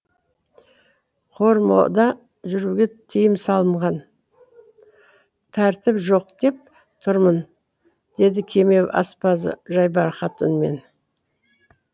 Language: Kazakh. кормода жүруге тиым салынған тәртіп жоқ деп тұрмын деді кеме аспазы жайбарақат үнмен